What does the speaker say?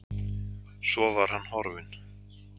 Svo var hann horfinn.